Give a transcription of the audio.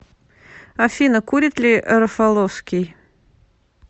афина курит ли рафаловский